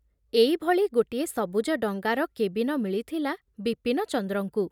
ଏଇଭଳି ଗୋଟିଏ ସବୁଜ ଡଙ୍ଗାର କେବିନ ମିଳିଥିଲା ବିପିନଚନ୍ଦ୍ରଙ୍କୁ।